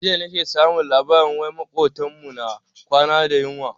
Jiya nake samun labarin wai makotan mu na kwana da yunwa.